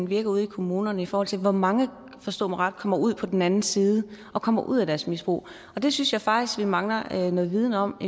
virker ude i kommunerne i forhold til hvor mange forstå mig ret kommer ud på den anden side og kommer ud af deres misbrug det synes jeg faktisk vi mangler noget viden om